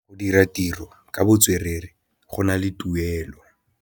Go dira ditirô ka botswerere go na le tuelô.